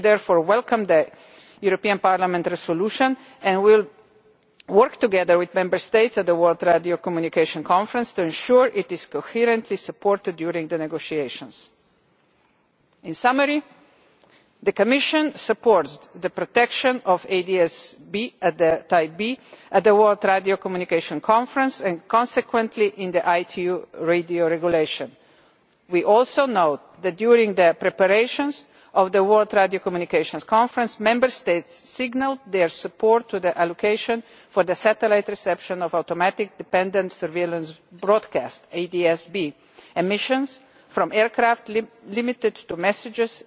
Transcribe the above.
We therefore welcome the European Parliament resolution and we will work together with Member States at the World Radio Communication Conference to ensure that it is coherently supported during the negotiations. To sum up, the Commission supported the protection of ADS type B at the World Radio Communication Conference and consequently in the ITU radio regulation. We also know that during the preparations for the World Radio Communications Conference Member States signalled their support for allocation for satellite reception of automatic dependent surveillance broadcast ATSB emissions from aircraft limited to